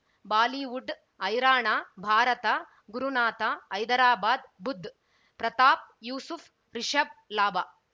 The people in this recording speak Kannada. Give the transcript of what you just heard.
ಬಾಲಿವುಡ್ ಹೈರಾಣ ಭಾರತ ಗುರುನಾಥ ಹೈದರಾಬಾದ್ ಬುಧ್ ಪ್ರತಾಪ್ ಯೂಸುಫ್ ರಿಷಬ್ ಲಾಭ